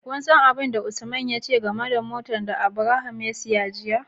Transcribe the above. Kun san abin da Usman ya ce game da motar da Abraham ya siya jiya?